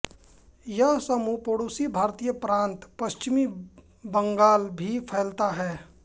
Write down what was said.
यह समूह पड़ोसी भारतीय प्रांत पश्चिम बंगाल भी फैलाता है